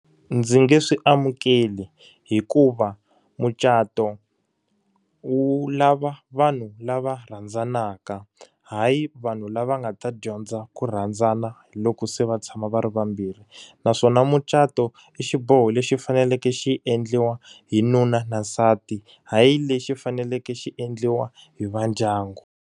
Ndzi nge swi amukeli hikuva mucato wu lava vanhu lava rhandzanaka, hayi vanhu lava nga ta dyondza ku rhandzana loko se va tshama va ri vambirhi. Naswona mucato i xiboho lexi faneleke xi endliwa hi nuna na nsati, hayi lexi faneleke xi endliwa hi va ndyangu.